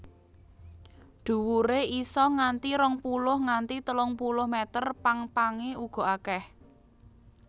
Dhuwure isa nganti rong puluh nganti telung puluh meter pang pange uga akèh